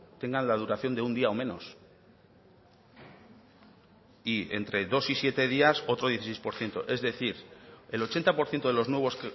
tengan la duración de un día o menos y entre dos y siete días otro dieciséis por ciento es decir el ochenta por ciento de los nuevos